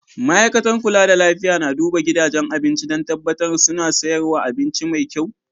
Ma'aikatar kulla da lafiya na duban gidajen abinci dan tabatar suna sayarwa abinci mai kyau.